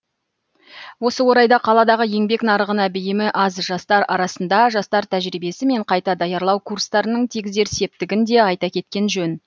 осы орайда қаладағы еңбек нарығына бейімі аз жастар арасында жастар тәжірибесі мен қайта даярлау курстарының тигізер септігін де айта кеткен жөн